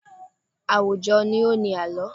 Àwùjọ ni ó ni àlọ́.